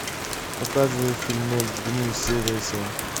показывай фильмец дни серия семь